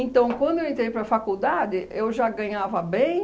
quando eu entrei para a faculdade, eu já ganhava bem